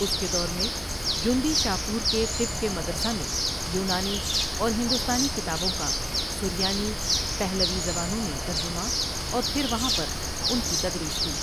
اس کے دور میں جندی شاپورکے طب کے مدرسہ میں یونانی اور ہندوستانی کتابوں کا سریانی پہلوی زبانوں میں ترجمہ اور پھر وہاں پر ان کی تدریس ہوئی۔